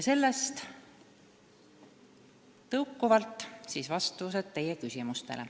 Nüüd aga vastused teie küsimustele.